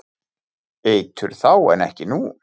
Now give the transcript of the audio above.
Eitur þá en ekki nú?